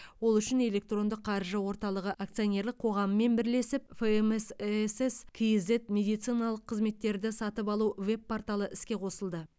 ол үшін электрондық қаржы орталығы акционерлік қоғамымен бірлесіп фмс эсс кейзэт медициналық қызметтерді сатып алу веб порталы іске қосылды